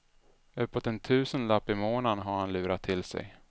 Uppemot en tusenlapp i månaden har han lurat till sig.